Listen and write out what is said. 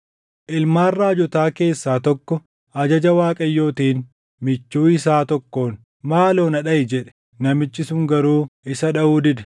Ilmaan raajotaa keessaa tokko ajaja Waaqayyootiin michuu isaa tokkoon, “Maaloo na dhaʼi” jedhe. Namichi sun garuu isa dhaʼuu dide.